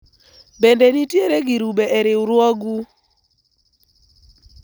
bende nitiere girube e riwruogu ?